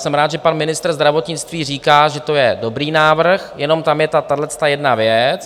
Jsem rád, že pan ministr zdravotnictví říká, že to je dobrý návrh, jenom tam je tahleta jedna věc.